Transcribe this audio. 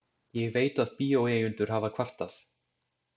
Ég veit, að bíóeigendur hafa kvartað.